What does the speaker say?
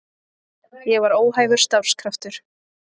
Ég var óhæfur starfskraftur.